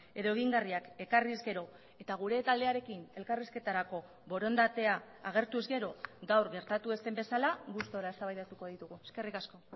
edo egingarriak ekarriz gero eta gure taldearekin elkarrizketarako borondatea agertuz gero gaur gertatu ez den bezala gustura eztabaidatuko ditugu eskerrik asko